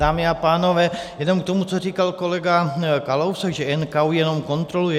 Dámy a pánové, jenom k tomu, co říkal kolega Kalousek, že NKÚ jenom kontroluje.